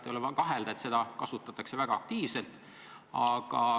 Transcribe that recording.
Ei ole vaja kahelda, et seda kasutataks väga aktiivselt.